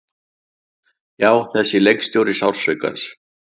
Já, þessi leikstjóri sársaukans.